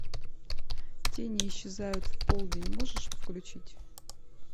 тени исчезают в полдень можешь включить